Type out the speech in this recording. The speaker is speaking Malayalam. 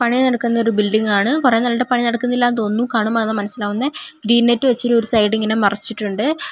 പണി നടക്കുന്ന ഒരു ബിൽഡിങ് ആണ് കൊറെ നാളായിട്ട് പണി നടക്കുന്നില്ല തോനുന്നു കാണുമ്പോ അതാ മനസിലാവുന്നെ ഗ്രീൻ നെറ്റ് വെച്ച് ഒരു സൈഡിങ്ങനെ മറച്ചിട്ടുണ്ട്.